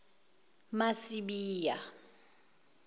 masibiya